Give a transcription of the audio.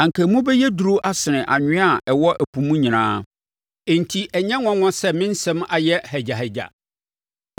anka emu bɛyɛ duru asene anwea a ɛwɔ ɛpo mu nyinaa, enti ɛnyɛ nwanwa sɛ me nsɛm ayɛ hagyahagya.